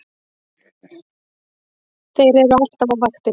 Þeir eru alltaf á vaktinni!